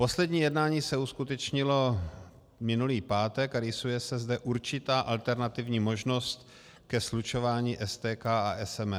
Poslední jednání se uskutečnilo minulý pátek a rýsuje se zde určitá alternativní možnost ke slučování STK a SEM.